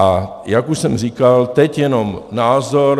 A jak už jsem říkal, teď jenom názor.